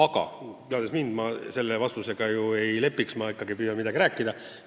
Aga te teate mind, teate, et ma sellist vastust ei anna ja püüan ikka midagi rääkida.